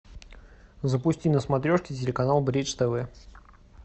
запусти на смотрешке телеканал бридж тв